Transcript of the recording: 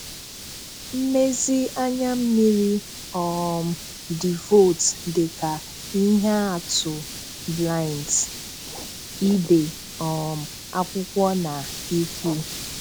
mmèzì ànyà mmiri, um dìvòt dị ka ihe atụ blinds, Ibè um akwụkwọ na-ìkwù.